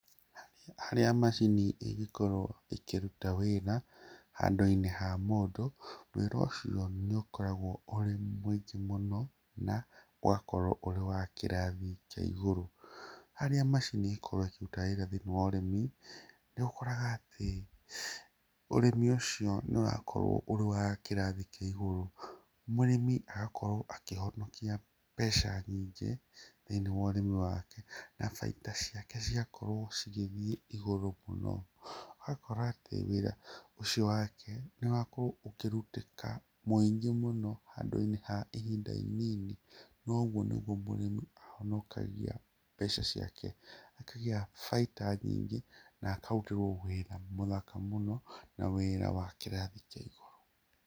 Harĩa macini ĩgĩkorwo ĩkĩruta wĩra handiũnĩ ha mũndũ, wĩra ũcio nĩ ũkoragwo mũingĩ mũno ũgakorwo wĩna kĩrathi kĩa igũrũ, harĩa macini ikoragwo ikĩruta wĩra thĩinĩ wa ũrĩmi niũkoraga atĩ ũrĩmi ũcio nĩũrakorwo ũrĩ wa kĩrathi kĩa igũrũ, mũrĩmi agakorwo akĩhonokia mbeca nyingĩ thĩinĩ wa ũrĩmi wake na baida ciake ciakorwo cigĩthiĩ igũrũ mũno, ũgakorwo atĩ wĩra ũcio wake nĩũgakorwo ũkĩrutĩka mũingi mũno handũinĩ ha ihinda inini, noguo nĩguo mũrĩmi ahonokagia mbeca ciake, akagĩa baida nyingĩ na akarutĩrwo wĩra mũthaka mũno na wĩra wa kĩrathi kĩa igũrũ.